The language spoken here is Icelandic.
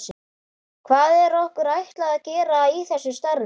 Hvað er okkur ætlað að gera í þessu starfi?